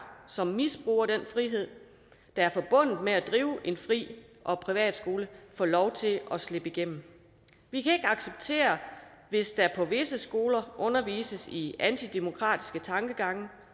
som misbruger den frihed der er forbundet med at drive en fri og privat skole får lov til at slippe igennem vi kan ikke acceptere hvis der på visse skoler undervises i antidemokratiske tankegange